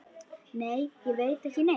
Nei, ég veit ekki neitt.